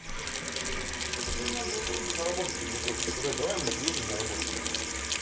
он короче на работе ну им надо было просто на работу к нему просто сказать давай мы приедем на работу и всё